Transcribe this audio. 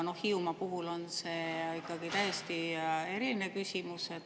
Hiiumaa puhul on see täiesti eriline küsimus.